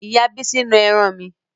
Ìyá bísí na ẹran mi